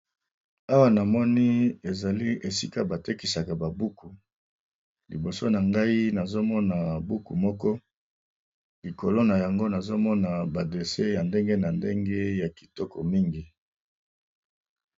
Awa namoni ezali esika ba tekisaka ba buku liboso na ngai nazomona buku moko, likolo na yango nazomona ba dossier ya ndenge na ndenge ya kitoko mingi.